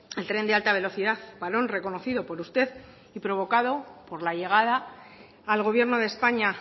el tren de alta velocidad parón reconocido por usted y provocado por la llegada al gobierno de españa